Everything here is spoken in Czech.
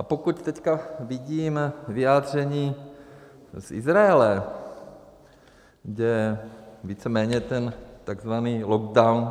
A pokud teď vidím vyjádření z Izraele, kde víceméně ten tzv. lockdown